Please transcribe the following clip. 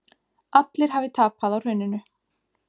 Allir hafi tapað á hruninu